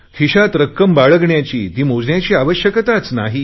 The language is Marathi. खिशात रक्कम बाळगण्याची ती मोजायची आवश्यकताच नाही